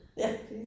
Ja